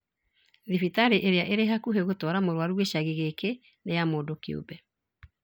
Thĩbitarĩ ĩrĩa ĩrĩ hakuhĩ gũtwara mũrwaru gĩcagi gĩkĩ nĩ ya mũndũ kĩũmbe